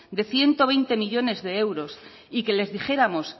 de ciento veinte millónes de euros y que les dijéramos